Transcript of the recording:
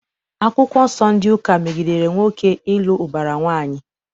Akwụkwọ Nsọ ndị ụka megidere nwoke ịlụ ụbara nwaanyị.